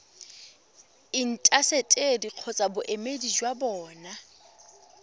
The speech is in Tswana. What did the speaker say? intaseteri kgotsa boemedi jwa bona